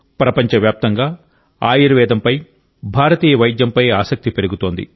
ప్రపంచవ్యాప్తంగా ఆయుర్వేదంపై భారతీయ వైద్యంపై ఆసక్తి పెరుగుతోంది